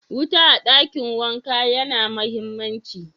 Wuta a dakin wanka ya na mahimmanci.